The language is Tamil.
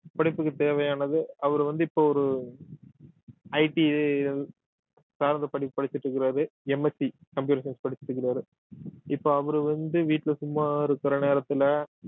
படிப்புக்கு தேவையானது அவரு வந்து இப்ப ஒரு IT சார்ந்த படிப்பு படிச்சிட்டு இருக்காரு MSc Computer science படிச்சிருக்கிறாரு இப்ப அவரு வந்து வீட்டுல சும்மா இருக்கிற நேரத்துல